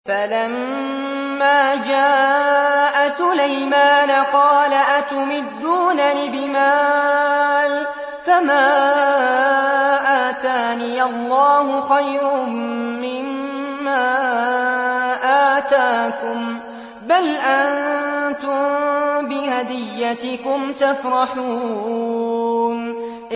فَلَمَّا جَاءَ سُلَيْمَانَ قَالَ أَتُمِدُّونَنِ بِمَالٍ فَمَا آتَانِيَ اللَّهُ خَيْرٌ مِّمَّا آتَاكُم بَلْ أَنتُم بِهَدِيَّتِكُمْ تَفْرَحُونَ